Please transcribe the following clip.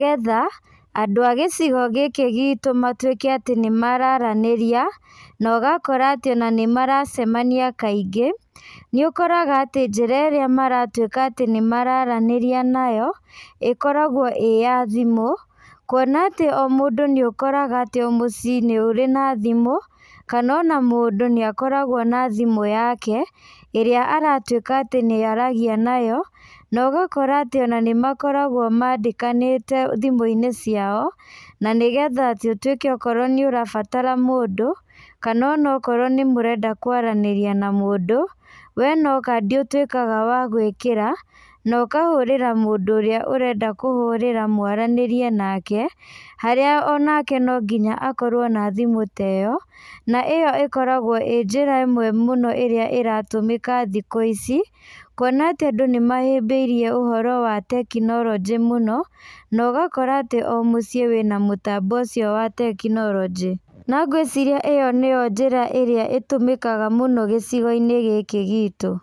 Nĩgetha andũ a gĩcigo gĩkĩ gitũ matuĩke atĩ nĩ mararanĩria, na ũgakora atĩ ona nĩ maracemania kaingĩ. Nĩ ũkoraga atĩ njĩra ĩrĩa maratuĩka atĩ nĩ mararanĩria nayo, ĩkoragwo ĩya thimũ. Kuona atĩ o mũndũ nĩ ũkoraga atĩ o mũciĩ nĩ ũrĩ na thimũ, kana ona mũndũ nĩ akoragwo na thimũ yake, ĩrĩa aratuĩka atĩ nĩ aragĩa nayo. Na ũgakora atĩ ona nĩ makoragwo mandĩkanĩte thimũ-inĩ ciao, na nĩgetha atĩ ũtuĩke okorwo nĩ ũrabatara mũndũ, kana ona okorwo nĩ mũrenda kwaranĩria na mũndũ, we no kandi ũtuĩkaga wa gwĩkĩra, na ũkahũrĩra mũndũ ũrĩa ũrenda kũhũrĩra mwaranĩrie nake, harĩa onake no nginya akorwo na thimũ ta ĩyo, na ĩyo ĩkoragwo ĩ njĩra ĩmwe mũno ĩrĩa ĩratũmĩka thikũ ici. Kuona atĩ andũ nĩ mahĩmbĩirie ũhoro wa tekinoronjĩ mũno, na ũgakora atĩ o mũciĩ wĩ na mũtambo ũcio wa tekinoronjĩ. Na ngwĩciria ĩyo nĩyo njĩra ĩrĩa ĩtũmĩkaga mũno gĩcigo-inĩ gĩkĩ gitũ.